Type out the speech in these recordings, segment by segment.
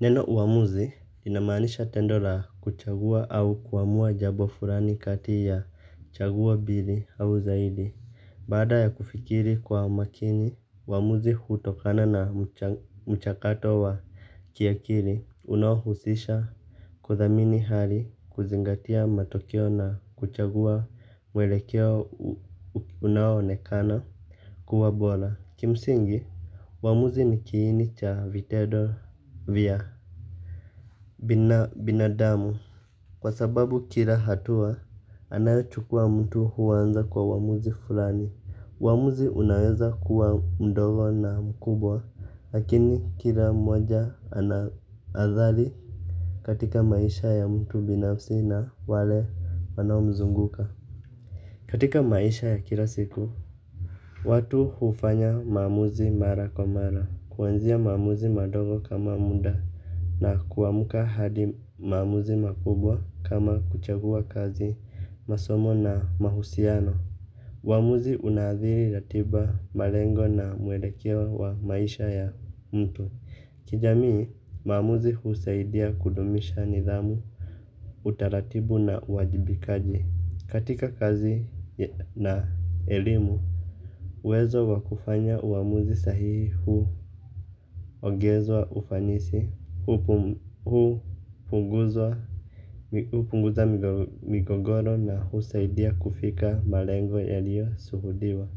Neno uamuzi inamanisha tendo la kuchagua au kuamua jabo furani kati ya chaguo bili au zaidi. Bada ya kufikiri kwa makini, uamuzi hutokana na mchakato wa kiakiri unahusisha. Kwa thamini hali kuzingatia matokeo na kuchagua mwelekeo unahonekana kuwa bola. Kimsingi, wamuzi ni kiini cha vitedo vya binadamu. Kwa sababu kila hatua, anayochukua mtu huwanza kwa wamuzi fulani. Wamuzi unaweza kuwa mdogo na mkubwa. Lakini kila moja anadhali katika maisha ya mtu binafsi na wale wanao mzunguka. Katika maisha ya kila siku, watu hufanya mamuzi mara kwa mara. Kuwenzia mamuzi madogo kama munda na kuwamuka hadi mamuzi makubwa kama kuchagua kazi masomo na mahusiano. Mamuzi unadhiri ratiba malengo na muelekeo wa maisha ya mtu. Kijamii mamuzi husaidia kudumisha nidhamu utaratibu na uwajibikaji. Katika kazi na elimu, uwezo wakufanya uamuzi sahihi huu ogezwa ufanisi, huu punguzwa migogoro na husaidia kufika malengo elio suhudiwa.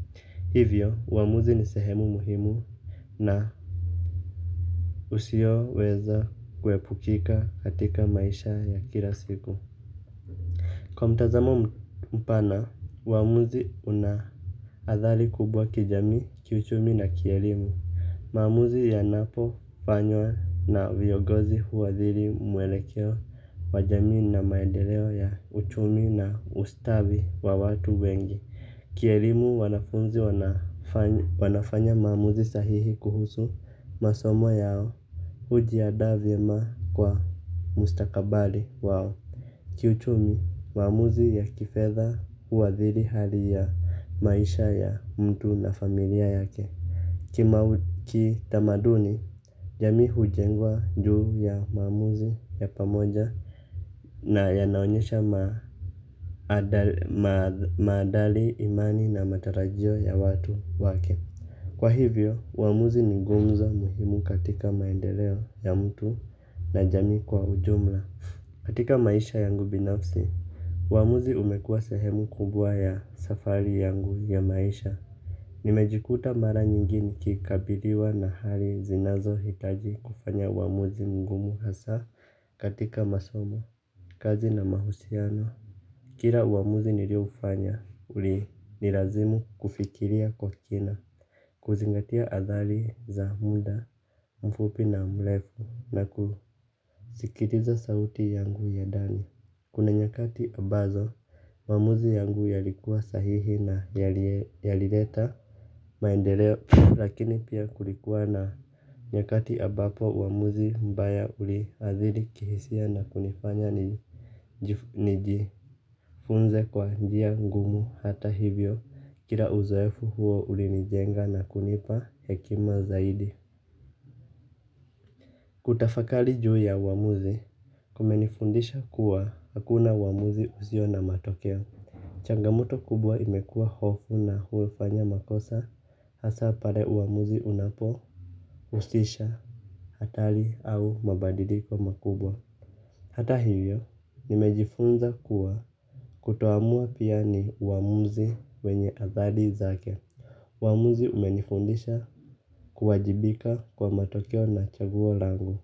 Hivyo, uamuzi ni sehemu muhimu na usio weza kwepukika katika maisha ya kila siku. Kwa mtazamo mpana, wamuzi unahadhali kubwa kijami, kiuchumi na kielimu. Mamuzi yanapo fanyo na vyogozi huwadhiri mwelekeo wajami na maendeleo ya uchumi na ustavi wa watu wengi. Kielimu wanafunzi wanafanya mamuzi sahihi kuhusu masomo yao. Ujiada viema kwa mustakabali wao. Kiuchumi maamuzi ya kifedha huathiri hali ya maisha ya mtu na familia yake. Kima kita maduni, jami hujengwa juu ya mamuzi ya pamoja na yanaonyesha madali imani na matarajio ya watu wake. Kwa hivyo uwamuzi ni ngumzo muhimu katika maendeleo ya mtu na jamii kwa ujumla. Katika maisha yangu binafsi wamuzi umekua sehemu kumbua ya safari yangu ya maisha. Nimejikuta mara nyingi nikikabiliwa na hali zinazo hitaji kufanya uwamuzi mgumu hasa katika masomo kazi na mahusiano. Kira wamuzi nilio ufanya uri nilazimu kufikiria kwa kina. Kuzingatia adhali za muda mfupi na mlefu na kuzikiriza sauti yangu ya dani. Kuna nyakati ambazo, wamuzi yangu yalikuwa sahihi na yalireta maendeleo lakini pia kulikuwa na nyakati ambapo uwamuzi mbaya uli adhiri kihisia na kunifanya nijifunze kwa njia ngumu hata hivyo kila uzoefu huo uli nijenga na kunipa hekima zaidi. Kutafakali juu ya wamuzi, kumenifundisha kuwa hakuna uwamuzi uzio na matokeo. Changamoto kubwa imekuwa hofu na huwefanya makosa hasa pare uamuzi unapo usisha hatali au mabadiliko makubwa. Hata hiyo, nimejifunza kuwa kutoamua piani uamuzi wenye azali zake. Uamuzi umenifundisha kuwajibika kwa matokeo na chaguo langu.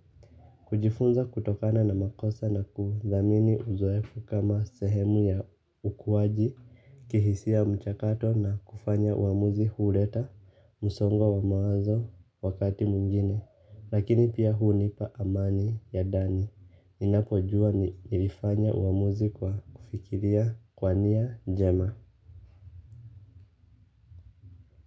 Kujifunza kutokana na makosa na kudhamini uzoefu kama sehemu ya ukuwaji, kihisia mchakato na kufanya uamuzi hureta musongo wa mawazo wakati mungine. Lakini pia huu nipa amani ya dani, inakojua ni ilifanya uamuzi kwa kufikiria kwania jema.